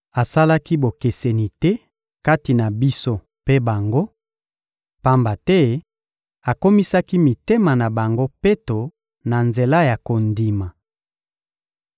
Asalaki bokeseni te kati na biso mpe bango, pamba te akomisaki mitema na bango peto na nzela ya kondima.